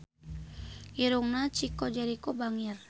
Irungna Chico Jericho bangir